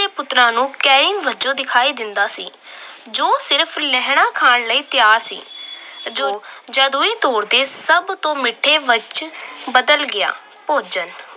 ਦੇ ਪੁੱਤਰਾਂ ਨੂੰ ਵਜੋਂ ਦਿਖਾਈ ਦਿੰਦਾ ਸੀ ਜੋ ਸਿਰਫ ਲਹਿਣਾ ਖਾਣ ਲਈ ਤਿਆਰ ਸੀ। ਜਦ ਉਹ ਤੋੜਦੇ ਸਭ ਤੋਂ ਮਿੱਠੇ ਵਿੱਚ ਬਦਲ ਗਿਆ ਭੋਜਨ।